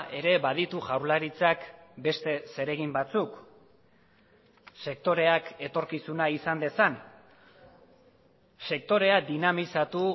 ere baditu jaurlaritzak beste zeregin batzuk sektoreak etorkizuna izan dezan sektorea dinamizatu